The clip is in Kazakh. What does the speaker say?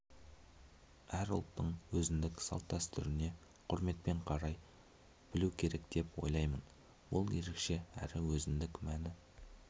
әр ұлттың өзіндік салт-дәстүріне құрметпен қарай білу керек деп ойлаймын бұл ерекше әрі өзіндік мәні